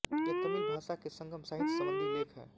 यह तमिल भाषा के संगम साहित्य संबंधी लेख है